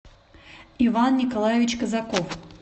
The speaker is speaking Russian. иван николаевич казаков